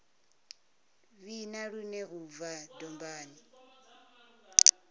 vhina lune u bva dombani